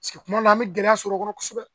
Paseke kuma dɔ la an bɛ gɛlɛya sɔr'a kɔnɔ kosɛbɛ